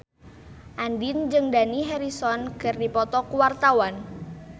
Andien jeung Dani Harrison keur dipoto ku wartawan